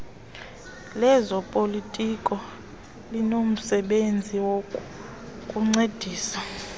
lezopolitiko linomsebenzi wokukuncedisa